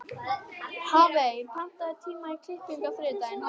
Hafey, pantaðu tíma í klippingu á þriðjudaginn.